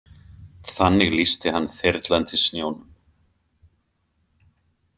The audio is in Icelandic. Þannig lýsti hann þyrlandi snjónum.